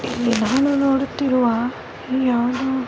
ಇಲ್ಲಿ ನಾನು ನೋಡುತ್ತಿರುವ ಈ ಯಾವುದೊ--